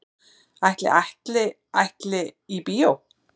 Ætli Atli ætli í bíó?